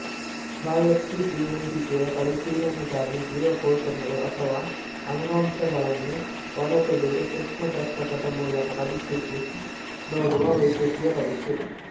ಬಾಯಾಪ್ಸಿಜೀವುಂಡಿಗೆಯು ಪರಿಶೀಲನೆಗಾಗಿ ಜೀವಕೋಶಗಳು ಅಥವಾ ಅಂಗಾಂಶಗಳನ್ನು ಹೊರತೆಗೆದು ಸೂಕ್ಷ್ಮದರ್ಶಕದ ಮೂಲಕ ಪರೀಕ್ಷಿಸಿ ನೋಡುವ ವೈದ್ಯಕೀಯ ಪರೀಕ್ಷೆ